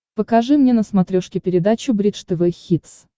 покажи мне на смотрешке передачу бридж тв хитс